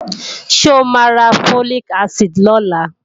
Ṣé o máa ra Folic acid lọ́la?